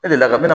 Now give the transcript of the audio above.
E deli la ka